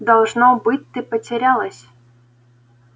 должно быть ты потерялась